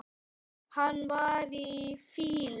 Hann var í fýlu.